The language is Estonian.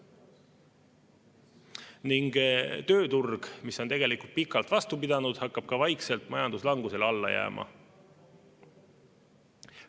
Ning tööturg, mis on tegelikult pikalt vastu pidanud, hakkab ka vaikselt majanduslangusele alla jääma.